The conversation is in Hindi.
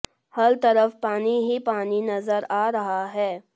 हर तरफ पानी ही पानी नजर आ रहा है